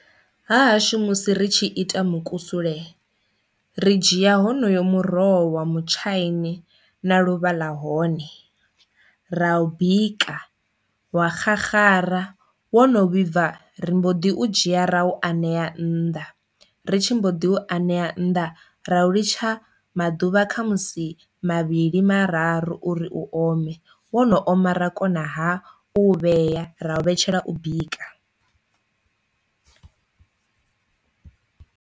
Ha hashu musi ri tshi ita mukusule ri dzhia honoyo muroho wa mutshaini na luvha ḽa hone ra u bika, wa xaxara, wo no vhibva ri mbo ḓi u dzhia rau anea nnḓa, ri tshi mbo ḓi u anea nnḓa ra u litsha maḓuvha kha musi mavhili mararu uri u ome wo no oma ra kona ha u vhea ra u vhetshela u bika.